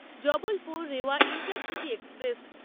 Jabalpur Rewa intercity express